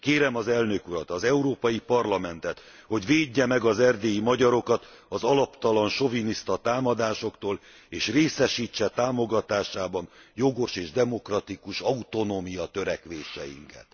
Kérem az elnök urat, az Európai Parlamentet, hogy védje meg az erdélyi magyarokat az alaptalan, soviniszta támadásoktól, és részesítse támogatásában jogos és demokratikus autonómiatörekvéseinket.